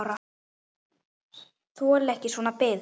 Þoli ekki svona bið.